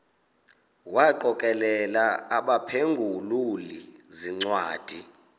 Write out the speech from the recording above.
wagokelela abaphengululi zincwadi